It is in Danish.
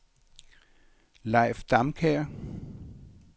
Leif Damkjær